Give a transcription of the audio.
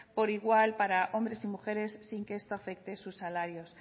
por igual para hombres y mujeres sin que esto afecte sus salarios